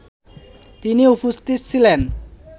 তিনি উপস্থিত ছিলেন